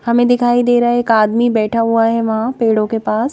हमें दिखाई दे रहा है एक आदमी बैठा हुआ है वहां पेड़ों के पास--